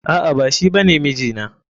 A'a, ba shi bane mijina.